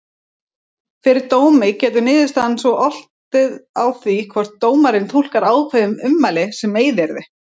Fyrir dómi getur niðurstaðan svo oltið á því hvort dómari túlkar ákveðin ummæli sem meiðyrði.